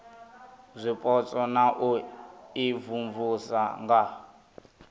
zwipotso na u imvumvusa nga